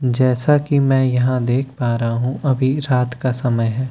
जैसा कि मैं यहां देख पा रहा हूं अभी रात का समय है।